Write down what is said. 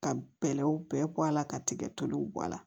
Ka bɛlɛw bɛɛ bɔ a la ka tigɛ toli bɔ a la